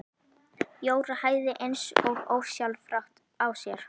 Jóra hægði eins og ósjálfrátt á sér.